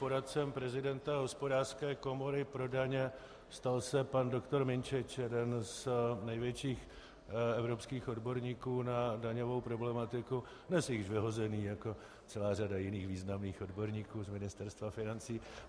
Poradcem prezidenta Hospodářské komory pro daně se stal pan doktor Minčič, jeden z největších evropských odborníků na daňovou problematiku, dnes již vyhozený, jako celá řada jiných významných odborníků, z Ministerstva financí.